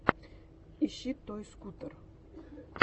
ищи той скутер